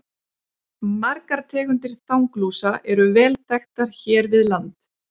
Margar tegundir þanglúsa eru vel þekktar hér við land.